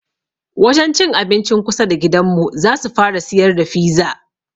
Wajen cin abincin kusa da gidanmu zasu fara siyar da fiza